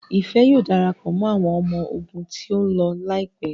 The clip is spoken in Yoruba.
Ifẹ yíò darapọ̀ mọ́ àwọn ọmọ ogun tíó ló láìpé.